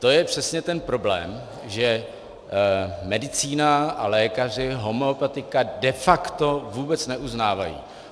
To je přesně ten problém, že medicína a lékaři homeopatika de facto vůbec neuznávají.